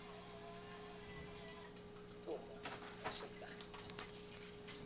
Toomo kosulda.